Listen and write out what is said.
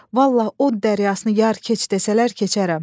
Vallah o dərəsini yar keç desələr keçərəm.